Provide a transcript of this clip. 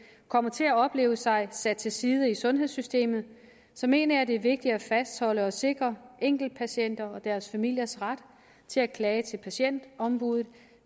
kommer til at opleve sig sat til side i sundhedssystemet så mener jeg at det er vigtigt at fastholde og sikre enkeltpatienters og deres familiers ret til at klage til patientombuddet